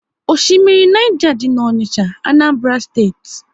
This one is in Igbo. Oshimmiri Niger dị n'Onicha, Anambra Steeti